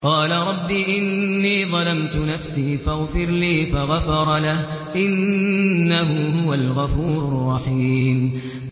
قَالَ رَبِّ إِنِّي ظَلَمْتُ نَفْسِي فَاغْفِرْ لِي فَغَفَرَ لَهُ ۚ إِنَّهُ هُوَ الْغَفُورُ الرَّحِيمُ